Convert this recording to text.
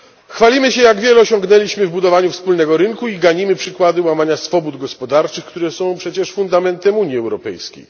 Chwalimy się, jak wiele osiągnęliśmy w budowaniu wspólnego rynku i ganimy przykłady łamania swobód gospodarczych, które są przecież fundamentem Unii Europejskiej.